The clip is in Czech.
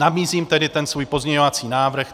Nabízím tedy ten svůj pozměňovací návrh.